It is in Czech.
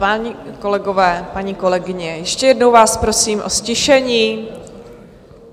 Páni kolegové, paní kolegyně, ještě jednou vás prosím o ztišení.